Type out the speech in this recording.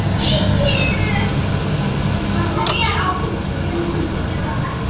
Helstu hlutverk kvarnanna tengjast heyrnar- og jafnvægisskyni fisksins í sjónum.